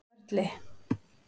Sörli